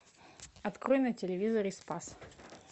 открой на телевизоре спас